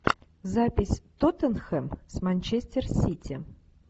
запись тоттенхэм с манчестер сити